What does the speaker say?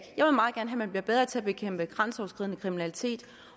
man bliver bedre til at bekæmpe grænseoverskridende kriminalitet